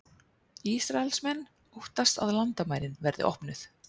Ísraelsmenn óttast að landamærin verði opnuð